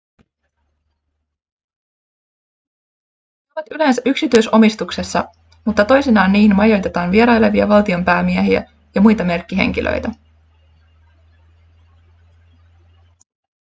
ne ovat yleensä yksityisomistuksessa mutta toisinaan niihin majoitetaan vierailevia valtionpäämiehiä ja muita merkkihenkilöitä